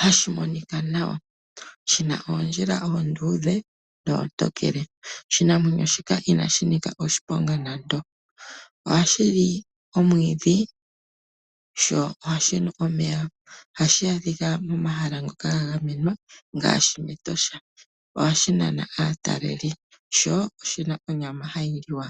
hashi monika nawa. Shina oondjila oonduthe noontokele. Oshinamwenyo shika inashi nika oshiponga nando. Ohashi li omwiidhi sho ohashi nu omeya. Ohashi adhika momahala ngoka ga gamenwa ngaashi mEtosha. Ohashi nana aatalelipo. Sho oshina onyama hayi liwa.